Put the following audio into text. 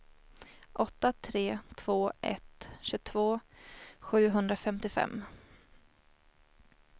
åtta tre två ett tjugotvå sjuhundrafemtiofem